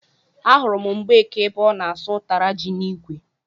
Ahụrụ m Mgbeke ebe ọ na-asụ ụtara ji n'ikwe